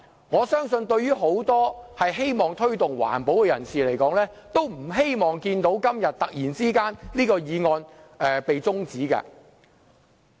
我相信很多希望推動環保的人士均不希望看到這項決議案辯論今天突然被中止待續。